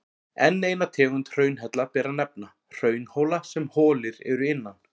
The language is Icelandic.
Enn eina tegund hraunhella ber að nefna, hraunhóla sem holir eru innan.